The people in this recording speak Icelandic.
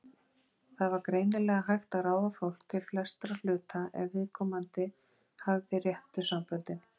Það var greinilega hægt að ráða fólk til flestra hluta ef viðkomandi hafði réttu samböndin.